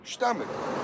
İşləmir.